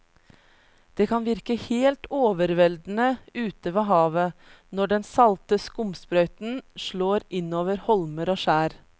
Det kan virke helt overveldende ute ved havet når den salte skumsprøyten slår innover holmer og skjær.